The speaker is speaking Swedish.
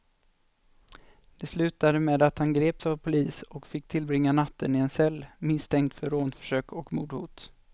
Det slutade med att han greps av polis och fick tillbringa natten i en cell, misstänkt för rånförsök och mordhot.